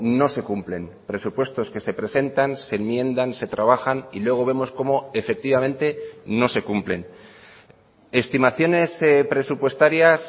no se cumplen presupuestos que se presentan se enmiendan se trabajan y luego vemos como efectivamente no se cumplen estimaciones presupuestarias